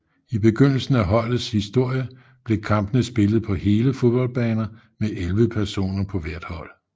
I begyndelsen af holdets historie blev kampene spillet på hele fodboldbaner med 11 personer på hvert hold